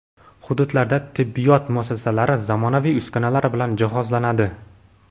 Hududlarda tibbiyot muassasalari zamonaviy uskunalar bilan jihozlanadi.